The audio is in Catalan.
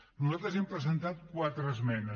nosaltres hem presentat quatre esmenes